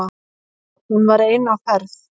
Hún var ein á ferð